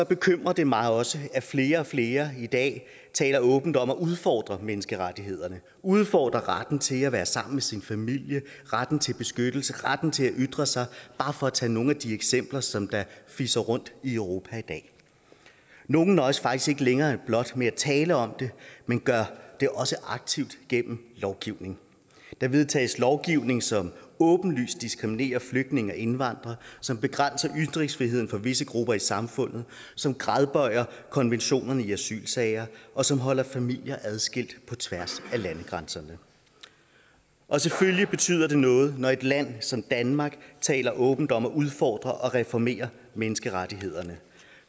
bekymrer det mig også at flere og flere i dag taler åbent om at udfordre menneskerettighederne udfordre retten til at være sammen med sin familie retten til beskyttelse retten til at ytre sig bare for at tage nogle af de eksempler som fiser rundt i europa i dag nogle nøjes faktisk ikke længere blot med at tale om det men gør det også aktivt gennem lovgivning der vedtages lovgivning som åbenlyst diskriminerer flygtninge og indvandrere som begrænser ytringsfriheden for visse grupper i samfundet som gradbøjer konventionerne i asylsager og som holder familier adskilt på tværs af landegrænserne selvfølgelig betyder det noget når et land som danmark taler åbent om at udfordre og reformere menneskerettighederne